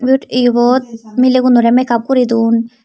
it ebot melagunora megav guri done.